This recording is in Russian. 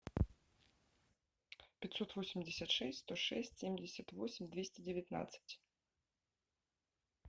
пятьсот восемьдесят шесть сто шесть семьдесят восемь двести девятнадцать